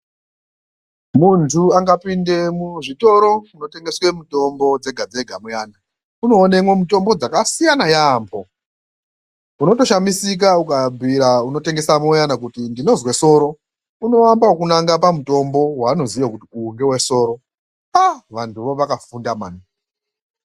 Muntu akapinde muzvitoro zvinotengeswe mitombo dzegadzega muyana unoonemwo mitombo dzakasiyana yaamho, unotoshamisika ukabhuyira unotengesamo uyani ukati 'ndinozwe soro"unoamba ngekunanga pamutombo waanoziya kuti uyu ngewesoro, aaah! vanhu vo vakafunda mani!